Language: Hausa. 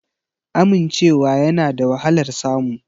Amincewa yana da wahalar samu